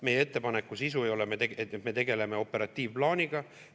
Meie ettepaneku sisu ei ole, et me tegeleme operatiivplaaniga.